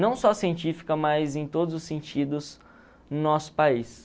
não só científica, mas em todos os sentidos no nosso país.